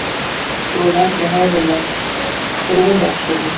Þau voru ekki hærri en að brúnásunum.